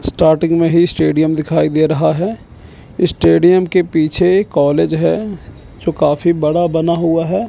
Starting में ही stadium दिखाई दे रहा है स्टेडियम के पीछे कॉलेज है जो काफी बड़ा बना हुआ है।